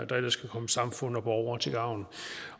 der ellers kan komme samfundet og borgere til gavn